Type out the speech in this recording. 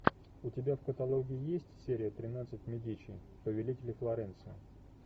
у тебя в каталоге есть серия тринадцать медичи повелители флоренции